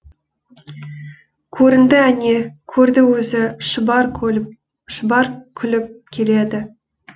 көрінді әне көрді өзі шұбар күліп келеді